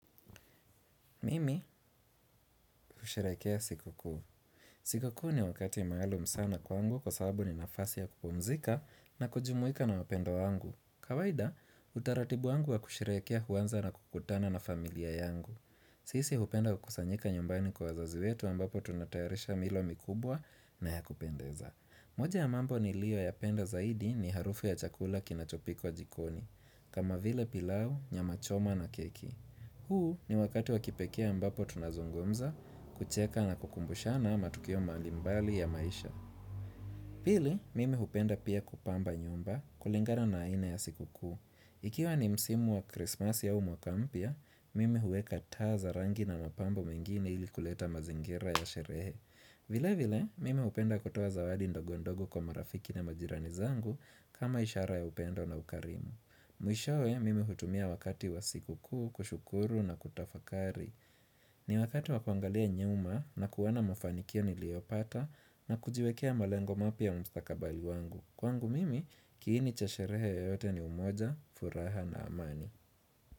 Mimi husherehekea siku kuu. Siku kuu ni wakati maalum sana kwangu kwa sababu ni nafasi ya kupumzika na kujumuika na wapenda wangu. Kawaida, utaratibu wangu wa kusherehekea huanza na kukutana na familia yangu. Sisi hupenda kukusanyika nyumbani kwa wazazi wetu ambapo tunatayarisha milo mikubwa na ya kupendeza. Moja ya mambo nilioyapenda zaidi ni harufu ya chakula kinachopikwa jikoni, kama vile pilau, nyama choma na keki. Huu ni wakati wa kipekee ambapo tunazungumza kucheka na kukumbushana matukio malimbali ya maisha. Pili, mimi hupenda pia kupamba nyumba kulingana na aina ya siku kuu. Ikiwa ni msimu wa krismasi au mwaka mpya, mimi huweka taa za rangi na mapambo mengine ili kuleta mazingira ya sherehe. Vile vile, mimi hupenda kutoa zawadi ndogo ndogo kwa marafiki na majirani zangu kama ishara ya upendo na ukarimu. Mwishowe mimi hutumia wakati wa siku kuu, kushukuru na kutafakari ni wakati wa kuangalia nyuma na kuona mafanikio niliopata na kujiwekea malengo mapya mstakabali wangu Kwangu mimi kiini cha sherehe yote ni umoja, furaha na amani.